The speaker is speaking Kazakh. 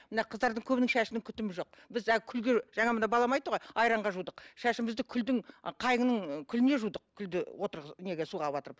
мына қыздардың көбінің шашының күтімі жоқ біз күлге жаңа мына балам айтты ғой айранға жудық шашымызды күлдің ы қайынның күліне жудық күлді отырғыз неге суға батырып